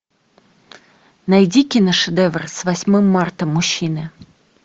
найди киношедевр с восьмым мартом мужчины